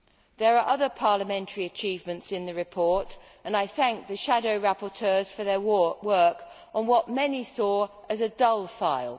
There are other parliamentary achievements in the report, and I thank the shadow rapporteurs for their work on what many saw as a dull file.